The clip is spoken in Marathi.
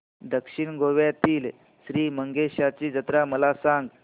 दक्षिण गोव्यातील श्री मंगेशाची जत्रा मला सांग